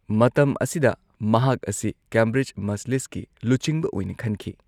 ꯃꯇꯝ ꯑꯁꯤꯗ ꯃꯍꯥꯛ ꯑꯁꯤ ꯀꯦꯝꯕ꯭ꯔꯤꯖ ꯃꯖꯂꯤꯁꯀꯤ ꯂꯨꯆꯤꯡꯕ ꯑꯣꯏꯅ ꯈꯟꯈꯤ꯫